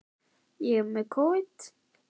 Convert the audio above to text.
Besta bíómyndin?